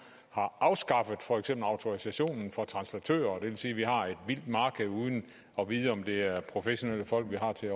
har afskaffet for eksempel autorisationen for translatører det vil sige at vi har et vildt marked uden at vide om det er professionelle folk vi har til